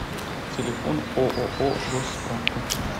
телефон ооо госсправка